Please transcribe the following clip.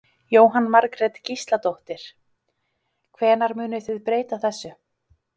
Jóhann Margrét Gísladóttir: Hvenær munið þið breyta þessu?